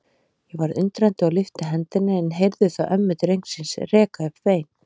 Ég varð undrandi og lyfti hendinni en heyrði þá ömmu drengsins reka upp vein.